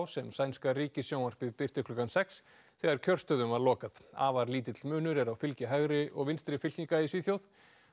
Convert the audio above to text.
sem sænska ríkissjónvarpið birti klukkan sex þegar kjörstöðum var lokað afar lítill munur er á fylgi hægri og vinstri fylkinga í Svíþjóð